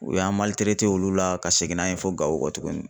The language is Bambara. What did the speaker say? U y'an olu la ka segin n'a ye fo Gawo tuguni.